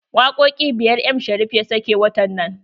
Wakoƙi biyar m Sharif ya sake watan nan.